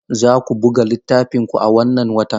Za ku buga littafin ku a wannan watan?